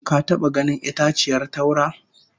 Ka taba ganin itaciyar taura?